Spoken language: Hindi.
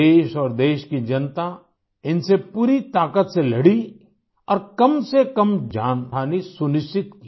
देश और देश की जनता इनसे पूरी ताक़त से लड़ी और कम से कम जनहानि सुनिश्चित की